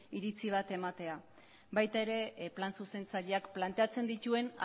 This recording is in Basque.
iritzi bat ematea baita ere plan zuzentzaileak planteatzen dituen